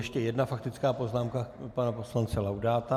Ještě jedna faktická poznámka pana poslance Laudáta.